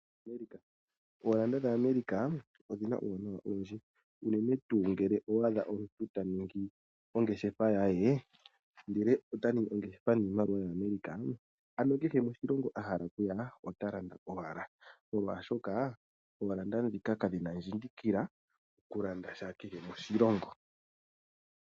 Oodola dhaAmerica odhi na omauwanawa ogendji, unene tuu ngele owa adha omuntu ta ningi ongeshefa ye ndele ota ningi ongeshefa nodola yaAmerica, ano kehe moshilongo a hala okuya ota landa owala, molwashoka oodola ndhika kadhi na ondjindikila okulanda sha kehe moshilongo.